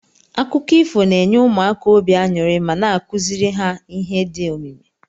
Akụkọ ifo na enye ụmụaka obi anyuri ma na akuziri ha ihe di omimi.